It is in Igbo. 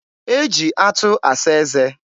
e ji atụ asa eze.